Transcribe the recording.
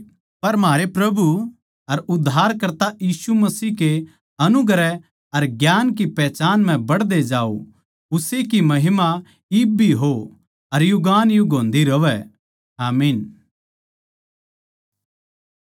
पर म्हारे प्रभु अर उद्धारकर्ता यीशु मसीह के अनुग्रह अर ज्ञान की पहचान म्ह बढ़दे जाओ उस्से की महिमा इब भी हो अर युगानुयुग होन्दी रहवै आमीन